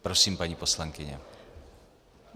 Prosím, paní poslankyně.